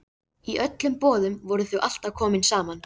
Í öllum boðum voru þau alltaf komin saman.